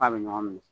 F'a bɛ ɲɔgɔn minɛ